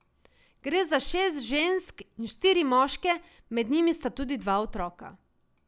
Gre za šest žensk in štiri moške, med njimi sta tudi dva otroka.